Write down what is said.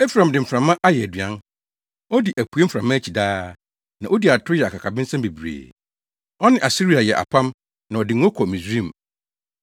Efraim de mframa ayɛ aduan; odi apuei mframa akyi daa na odi atoro yɛ akakabensɛm bebree. Ɔne Asiria yɛ apam na ɔde ngo kɔ Misraim.